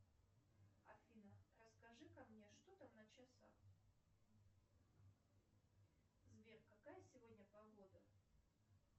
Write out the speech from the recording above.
афина расскажи ка мне что там на часах сбер какая сегодня погода